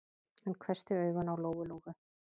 Hann hvessti augun á Lóu-Lóu.